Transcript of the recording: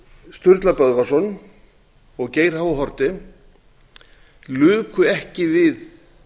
sturla böðvarsson og geir h haarde luku ekki við